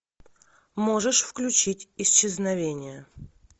можешь включить исчезновение